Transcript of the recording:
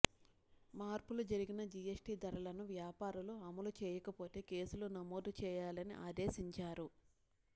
మార్పులు జరిగిన జిఎస్టి ధరలను వ్యాపారులు అమలు చేయకపోతే కేసులు నమోదు చేయాలని ఆదేశించారు